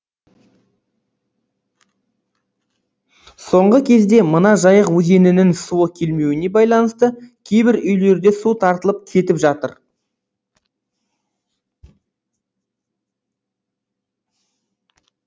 соңғы кезде мына жайық өзенінің суы келмеуіне байланысты кейбір үйлерде су тартылып кетіп жатыр